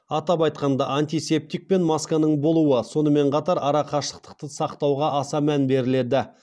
атап айтқанда антисептик пен масканың болуы сонымен қатар арақашықты сақтауға аса мән беріледі